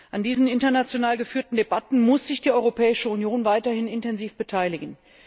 An diesen international geführten Debatten muss sich die Europäische Union weiterhin intensiv beteiligen.